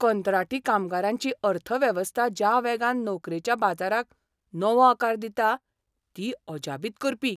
कंत्राटी कामगारांची अर्थवेवस्था ज्या वेगान नोकरेच्या बाजाराक नवो आकार दिता, ती अजापीत करपी!